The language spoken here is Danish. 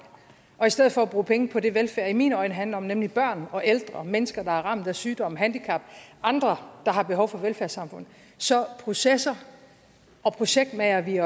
og i stedet for at bruge penge på det velfærd i mine øjne handler om nemlig børn og ældre mennesker der er ramt af sygdom eller handicap og andre der har behov for et velfærdssamfund så processer og projektmager vi